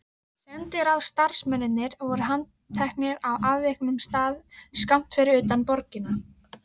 Sendiráðsstarfsmennirnir voru handteknir á afviknum stað skammt fyrir utan borgina.